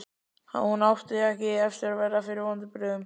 Hún átti ekki eftir að verða fyrir vonbrigðum.